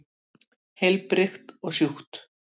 Heilbrigt og sjúkt.